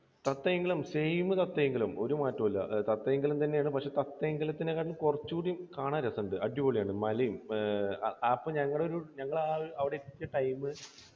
Sathyamangalam same Sathyamangalam. ഒരു മാറ്റവുമില്ല സത്യമംഗലം തന്നെയാണ്. പക്ഷേ സത്യമംഗലത്തിനെക്കാൾ കുറച്ചുകൂടി കാണാൻ രസണ്ട്. അടിപൊളിയാണ്. മലയും. അപ്പോൾ ഞങ്ങൾ ഒരു ഞങ്ങൾ അവിടെ എത്തിയ time